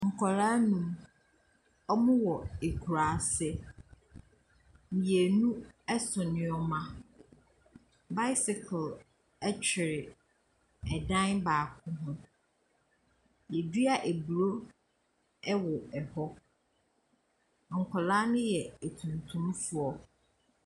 Nkwadaa nnum, wɔwɔ akuraase. Mmienu so nneɛma. Bicycle twere ɛan baako ho. Wɔadua aburo wɔ hɔ. Na nkwadaa no yɛ atuntumfoɔ.